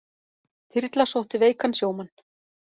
Þyrla sótti veikan sjómann